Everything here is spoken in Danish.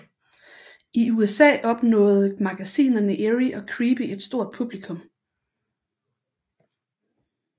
I USA opnåde magasinerne Eerie og Creepy er stort publikum